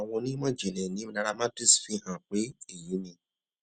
um àwọn onímò ìjìnlẹ ní nairametrics fi hàn pé èyí ni